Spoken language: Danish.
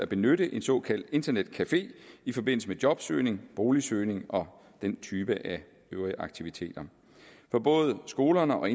benytte en såkaldt internetcafé i forbindelse med jobsøgning boligsøgning og den type af aktiviteter for både skolerne og